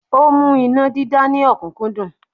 Ó mú iná dídá ní ọ̀kúnkúndùn